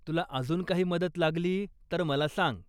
तुला अजून काही मदत लागली तर मला सांग.